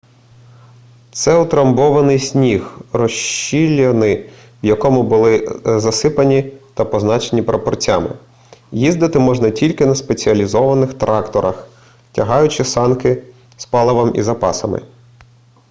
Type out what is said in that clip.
це утрамбований сніг розщілини в якому були засипані та позначені прапорцями їздити можна тільки на спеціалізованих тракторах тягаючи санки з паливом і запасами